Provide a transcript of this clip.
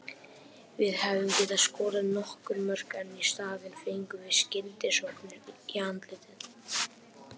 Við hefðum getað skorað nokkur mörk en í staðinn fengum við skyndisóknir í andlitið.